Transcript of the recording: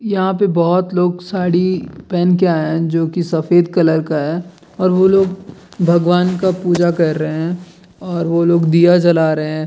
यहाँ पे बहोत लोग साड़ी पहन के आए हैं जो की सफेद कलर का है और वो लोग भगवान का पूजा कर रहे हैं और वो लोग दिया जला रहे हैं।